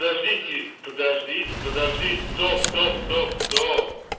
подождите подождите подождите стоп стоп стоп стоп